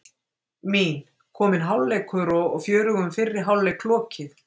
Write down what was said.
Mín: Kominn hálfleikur og fjörugum fyrri hálfleik lokið.